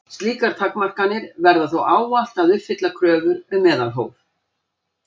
Slíkar takmarkanir verða þó ávallt að uppfylla kröfur um meðalhóf.